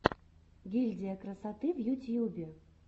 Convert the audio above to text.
гильдия красоты в ютьюбе